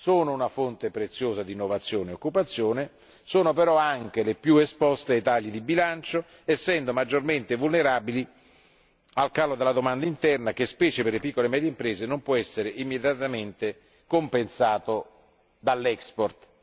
Sono una fonte preziosa d'innovazione e occupazione, sono però anche le più esposte ai tagli di bilancio essendo maggiormente vulnerabili al calo della domanda interna che, specie per le piccole e medie imprese, non può essere immediatamente compensato dall' export